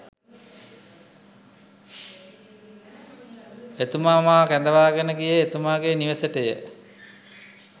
එතුමා මා කැඳවාගෙන ගියේ එතුමාගේ නිවසටය.